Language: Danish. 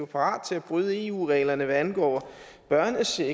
parat til at bryde eu reglerne hvad angår børnecheck